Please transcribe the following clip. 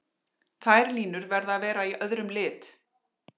Þær línur verða að vera í öðrum lit.